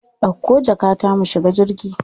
Dauko jakata mu shiga jirgi.